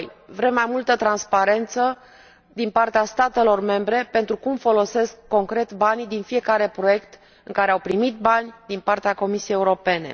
Vrem mai multă transparență din partea statelor membre pentru cum folosesc concret banii din fiecare proiect în care au primit bani din partea Comisiei Europene.